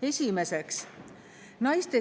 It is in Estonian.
Esiteks, naiste